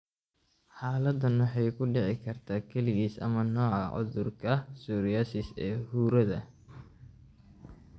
Xaaladdan waxay ku dhici kartaa kaligiis ama nooca cudurka psoriasis ee huurada.